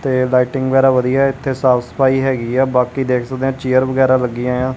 ਤੇ ਲਾਈਟਿੰਗ ਵਗੈਰਾ ਵਧੀਆ ਇਥੇ ਸਾਫ ਸਫਾਈ ਹੈਗੀ ਆ ਬਾਕੀ ਦੇਖ ਸਕਦੇ ਆ ਚੇਅਰ ਵਗੈਰਾ ਲੱਗੀਆਂ ਆ।